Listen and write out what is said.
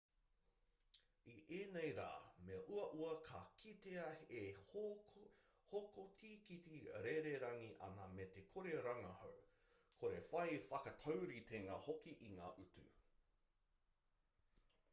i ēnei rā me uaua ka kitea e hoko tīkiti rererangi ana me te kore rangahau kore whai whakatauritenga hoki i ngā utu